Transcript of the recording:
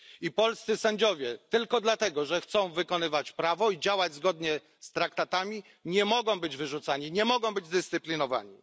I polscy sędziowie, tylko dlatego że chcą wykonywać prawo i działać zgodnie z traktatami, nie mogą być wyrzucani, nie mogą być dyscyplinowani.